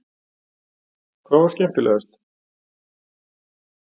Hrund Þórsdóttir: Hvað var skemmtilegast?